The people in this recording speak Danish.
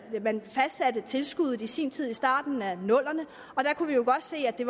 man fastsatte tilskuddet i sin tid i starten af nullerne der kunne vi jo godt se at det